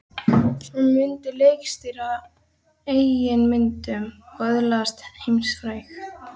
Hann myndi leikstýra eigin myndum og öðlast heimsfrægð.